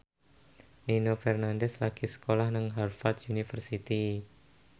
Nino Fernandez lagi sekolah nang Harvard university